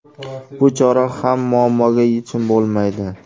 Bu chora ham muammoga yechim bo‘lmaydi.